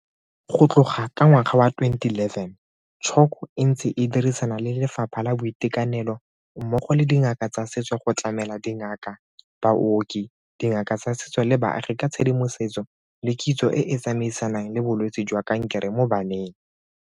Go tloga ka ngwaga wa 2011, CHOC e ntse e dirisana le Lefapha la Boitekanelo mmogo le dingaka tsa setso go tlamela dingaka, baoki, dingaka tsa setso le baagi ka tshedimosetso le kitso e e tsamaisanang le bolwetse jwa kankere mo baneng.